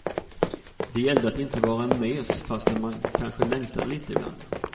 Det gällde att inte vara en mes fastän man kanske längtade lite ibland.